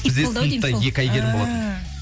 бізде сыныпта екі әйгерім болатын ііі